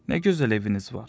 Nə gözəl eviniz var.